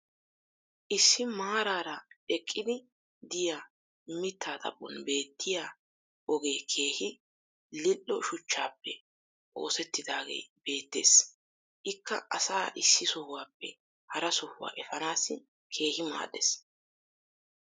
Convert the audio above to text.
issi maaraara eqqiddi diya mitaa xaphphon beetiya ogee keehi lil'o shuchchaappe oosettidaagee beetees. ikka asaa issi sohuwaappe hara sohuwaa efaanaassi keehi maadees.